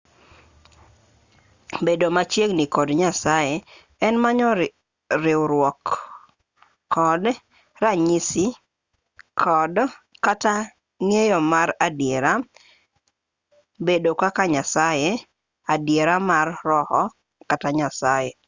bedo machiegini kod nyasaye en manyo riwruok kod ranyisi kod kata ng'eyo mar adiera bedo kaka nyasaye adiera mar roho kata nyasaye